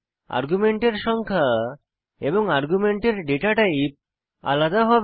আর্গুমেন্টের সংখ্যা এবং আর্গুমেন্টের ডেটা টাইপ আলাদা হবে